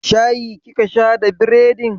Shayi kika sha da bredin?